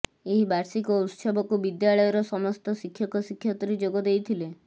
ଏହି ବାର୍ଷିକ ଉତ୍ସବକୁ ବିଦ୍ୟାଳୟର ସମସ୍ତ ଶିକ୍ଷକ ଶିକ୍ଷୟିତ୍ରୀ ଯୋଗଦେଇଥିଲେ